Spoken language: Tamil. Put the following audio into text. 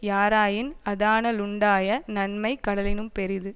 யாராயின் அதனா லுண்டாய நன்மை கடலினும் பெரிது